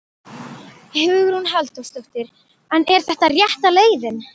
Hugrún Halldórsdóttir: En er þetta rétta leiðin?